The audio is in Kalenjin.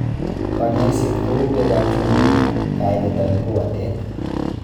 Kanyoiset ko u beek ab chumbik, kailet anan ko watet.